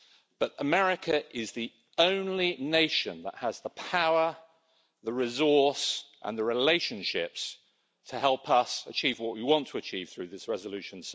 But America is the only nation that has the power, the resource and the relationships to help us achieve what we want to achieve through this resolution.